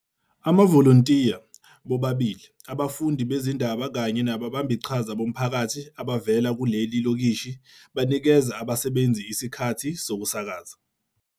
Amavolontiya, bobabili abafundi bezindaba kanye nababambiqhaza bomphakathi abavela kuleli lokishi banikeza abasebenzi isikhathi sokusakaza.